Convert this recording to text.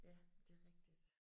Ja det er rigtigt